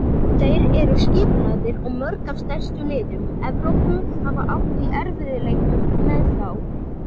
Þeir eru skipulagðir og mörg af stærstu liðum Evrópu hafa átt í erfiðleikum með þá.